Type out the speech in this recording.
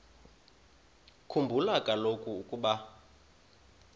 khumbula kaloku ukuba